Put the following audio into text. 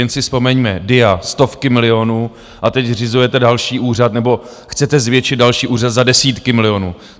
Jen si vzpomeňme DIA, stovky milionů, a teď zřizujete další úřad, nebo chcete zvětšit další úřad za desítky milionů.